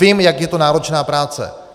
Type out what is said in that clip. Vím, jak je to náročná práce.